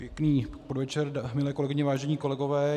Pěkný podvečer, milé kolegyně, vážení kolegové.